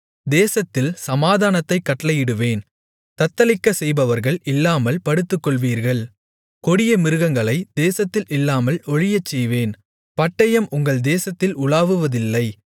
தேசத்தில் சமாதானத்தைக் கட்டளையிடுவேன் தத்தளிக்கச் செய்பவர்கள் இல்லாமல் படுத்துக்கொள்வீர்கள் கொடிய மிருகங்களைத் தேசத்தில் இல்லாமல் ஒழியச்செய்வேன் பட்டயம் உங்கள் தேசத்தில் உலாவுவதில்லை